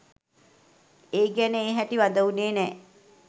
ඒ ගැන ඒ හැටි වද වුණේ නෑ.